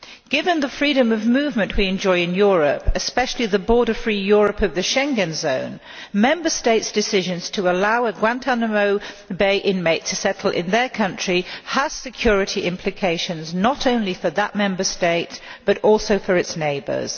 Given the freedom of movement we enjoy in Europe, especially the border free Europe of the Schengen zone, Member States' decisions to allow Guantánamo Bay inmates to settle in their country has security implications not only for that Member State, but also for its neighbours.